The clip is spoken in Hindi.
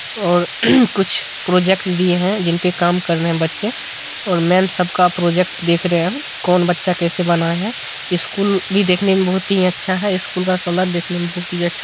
प्रोजेक्ट ली है जिनपे कम कर रहे हैं बच्चे और मैम सबका प्रोजेक्ट देख रे हैं कौन बच्चा कैसे बनाया है | स्कूल भी देखने में बहुत ही अच्छा है | स्कूल का कलर देखने में बहुत ही अच्छा लग रहा है | मैम साड़ी पहनी हुई है।